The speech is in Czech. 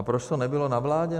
A proč to nebylo na vládě?